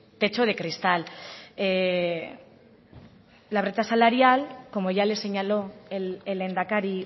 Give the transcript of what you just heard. techo de cristal la brecha salarial como ya le señaló el lehendakari